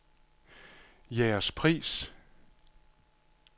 Jægerspris